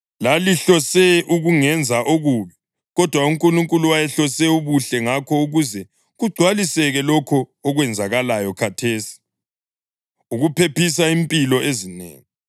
Lalihlose ukungenza okubi, kodwa uNkulunkulu wayehlose ubuhle ngakho ukuze kugcwaliseke lokhu okwenzakalayo khathesi, ukuphephisa impilo ezinengi.